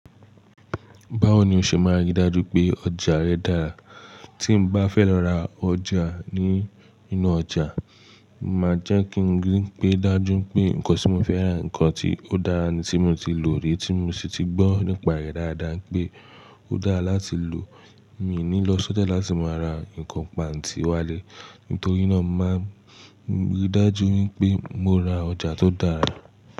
Báwo ni o ṣe máa rí dájú pé ọjà rẹ dára? Tí mo bá fẹ́ lọ ra ọjà ní inú ọjà, màá jẹ́ kí n rí pé dájú pé nǹkan tí mo fẹ́ rà, nǹkan tí ó dára ni tí mo ti lò rí, tí mo sì ti gbọ́ nípa rẹ̀ dáadáa pé ó dára láti lò. Mí ní lọ sọ́jà láti máa ra nǹkan pàǹtí wálé. Nítorí náà, màá rí dájú wípé mo ra ọjà tó dára.